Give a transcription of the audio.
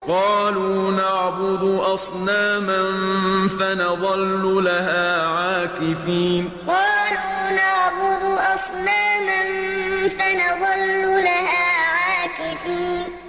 قَالُوا نَعْبُدُ أَصْنَامًا فَنَظَلُّ لَهَا عَاكِفِينَ قَالُوا نَعْبُدُ أَصْنَامًا فَنَظَلُّ لَهَا عَاكِفِينَ